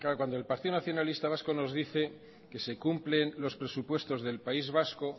cuando el partido nacionalista vasco nos dice que se cumple los presupuestos del país vasco